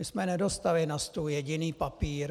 My jsme nedostali na stůl jediný papír.